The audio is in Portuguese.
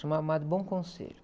Chamava Madre.